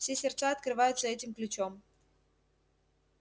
все сердца открываются этим ключом